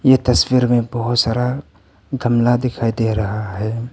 ये तस्वीर में बहुत सारा गमला दिखाई दे रहा है।